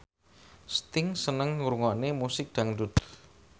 Sting seneng ngrungokne musik dangdut